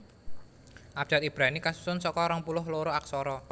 Abjad Ibrani kasusun saka rong puluh loro aksara